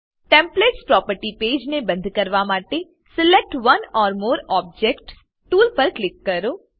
templates property page ને બંદ કરવા માટે select one or more objects tool પર ક્લિક કરો